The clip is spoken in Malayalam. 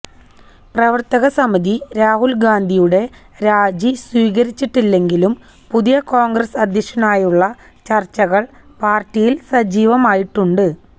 പ്രവര്ത്തകസമിതി രാഹുല് ഗാന്ധിയുടെ രാജി സ്വീകരിച്ചിട്ടില്ലെങ്കിലും പുതിയ കോണ്ഗ്രസ് അധ്യക്ഷനായുള്ള ചര്ച്ചകള് പാര്ട്ടിയില് സജീവമായിട്ടുണ്ട്